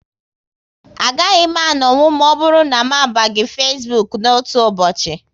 A gaghị m anonwu ma ọbụrụ na m abaghị Facebook n'otu ụbọchị